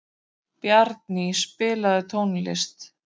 Bjarný, spilaðu tónlist.